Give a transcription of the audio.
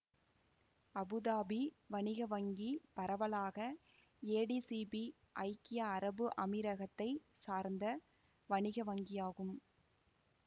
Abu Dhabi வணிக வங்கி பரவலாக ஏடிசிபி ஐக்கிய அரபு அமீரகத்தைச் சார்ந்த வணிக வங்கியாகும்